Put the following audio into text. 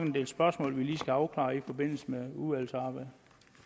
en del spørgsmål vi skal have afklaret i forbindelse med udvalgsarbejdet